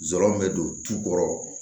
Zɔrɔmu bɛ don tukɔrɔ